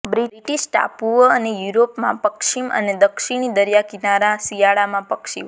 British ટાપુઓ અને યુરોપમાં પશ્ચિમ અને દક્ષીણી દરિયાકિનારા શિયાળામાં પક્ષીઓ